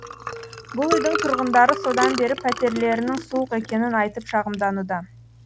бұл үйдің тұрғындары содан бері пәтерлерінің суық екенін айтып шағымдануда